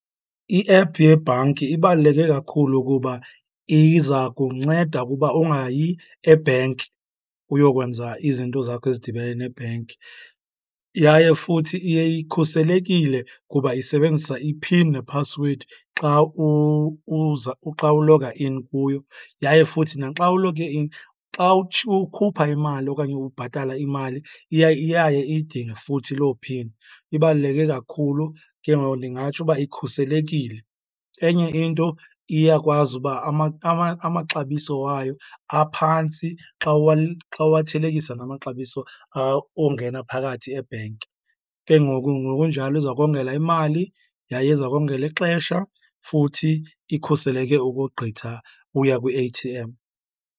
I-app yebhanki ibaluleke kakhulu kuba iza kunceda kuba ungayi e-bank uyokwenza izinto zakho ezidibene ne-bank. Yaye futhi iye ikhuselekile kuba isebenzisa i-pin nephasiwedi xa uza, xa uloga in kuyo. Yaye futhi naxa uloge in xa ukhupha imali okanye ubhatala imali iya iyaye iyidinge futhi loo pin. Ibaluleke kakhulu, ke ngoku ndingatsho uba ikhuselekile. Enye into, iyakwazi uba amaxabiso wayo aphantsi xa xa uwathelekisa namaxabiso ongena phakathi e-bank. Ke ngoku ngokunjalo iza kongela imali yaye iza kongela ixesha, futhi ikhuseleke ukogqitha uya kwi-A_T_M.